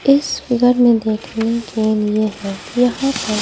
इस फिगर में देखने के लिए है कि यहां पर--